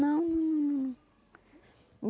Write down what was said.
Não.